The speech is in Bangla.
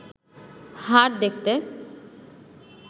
হাড় দেখতে